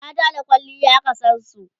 mata da kwalliya aka San su